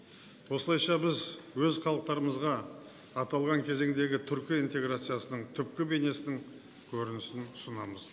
осылайша біз өз халықтарымызға аталған кезеңдегі түркі интеграциясының түпкі бейнесінің көрнісін ұсынамыз